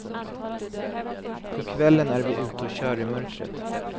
På kvällen är vi ute och kör i mörkret.